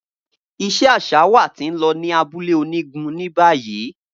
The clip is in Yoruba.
Iṣe aṣa wa ti n lọ ni abule onigun ni bayi.